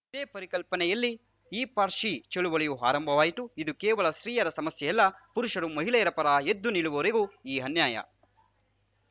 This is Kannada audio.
ಇದೇ ಪರಿಕಲ್ಪನೆಯಲ್ಲಿ ಹಿ ಫಾರ್‌ ಶಿ ಚಳುವಳಿ ಆರಂಭವಾಯಿತು ಇವು ಕೇವಲ ಸ್ತ್ರೀಯರ ಸಮಸ್ಯೆಯಲ್ಲ ಪುರುಷರು ಮಹಿಳೆಯರ ಪರ ಎದ್ದು ನಿಲ್ಲುವವರೆಗೆ ಈ ಅನ್ಯಾಯ